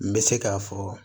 N bɛ se k'a fɔ